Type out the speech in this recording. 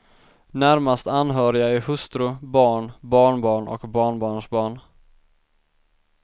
Närmast anhöriga är hustru, barn, barnbarn och barnbarnsbarn.